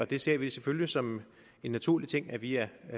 vi ser det selvfølgelig som en naturlig ting at vi er